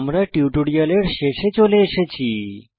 আমরা টিউটোরিয়ালের শেষে চলে এসেছি